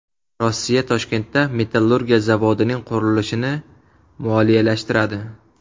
Rossiya Toshkentda metallurgiya zavodining qurilishini moliyalashtiradi.